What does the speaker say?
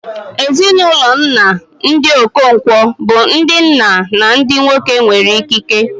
Ezinụlọ nna, ndị Okonkwo, bụ ndị nna na ndị nwoke nwere ikike.